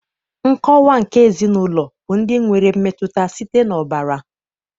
Nkọwa nke ezinaụlọ bụ ndị nwere mmetụta site n'ọbara